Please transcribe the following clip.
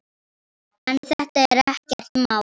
En þetta er ekkert mál.